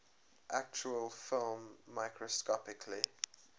actual film microscopically